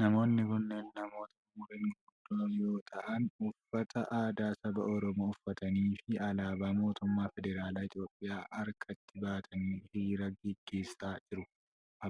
Namoonni kunneen namoota umuriin guguddoo yoo ta'an, uffata aadaa saba Oromoo uffatanii fi alaabaa mootummaa federaalaa Itoophiyaa harkatti qabatanii hiriira gaggeessa jiru.